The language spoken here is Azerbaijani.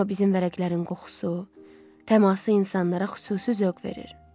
Amma bizim vərəqlərin qoxusu, təması insanlara xüsusi zövq verir.